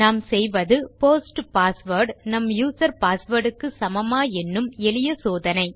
நாம் செய்வது post password நம் யூசர் பாஸ்வேர்ட் க்கு சமமா என்னும் எளிய சோதனை